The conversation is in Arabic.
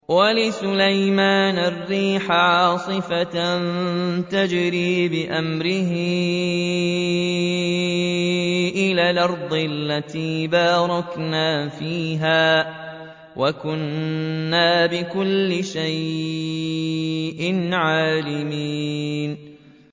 وَلِسُلَيْمَانَ الرِّيحَ عَاصِفَةً تَجْرِي بِأَمْرِهِ إِلَى الْأَرْضِ الَّتِي بَارَكْنَا فِيهَا ۚ وَكُنَّا بِكُلِّ شَيْءٍ عَالِمِينَ